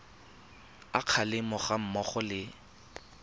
a kgalemo ga mmogo le